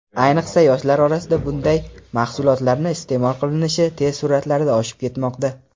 ayniqsa yoshlar orasida bunday mahsulotlarni iste’mol qilinishi tez sur’atlarda oshib ketmoqda.